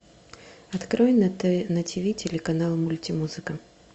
открой на тиви телеканал мультимузыка